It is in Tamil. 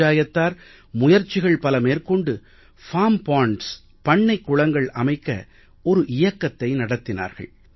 பஞ்சயத்தார் முயற்சிகள் மேற்கொண்டு பார்ம் பாண்ட்ஸ் பண்ணைக் குளங்கள் அமைக்க ஒரு இயக்கத்தை நடத்தினார்கள்